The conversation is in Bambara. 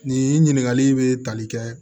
Nin ɲininkakali bɛ tali kɛ